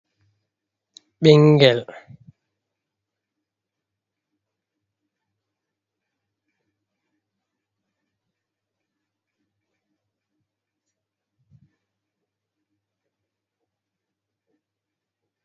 Ɓinngel pamarel ɗo dari kombi mootawa ndiiyam doɗɗeni. Ngel ɗo dari wanngini ƴi'e maagel jala. Ngel ɗo ɓorni jumpa, duhi sarla be parmalayel pat ndiiyam cuɗi. Ngel ɗo jimmiti juuɗe les jogi parmala, nden ngel ɗo faɗi paɗe cuɗi be diidi daneeji haa dow.